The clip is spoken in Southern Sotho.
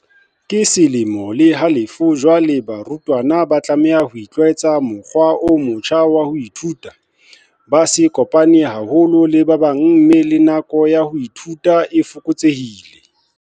Ke selemo le halofo jwale barutwana ba tlameha ho itlwaetsa mokgwa o motjha wa ho ithuta, ba sa kopane haholo le ba bang mme le nako ya ho ithuta e fokotsehile.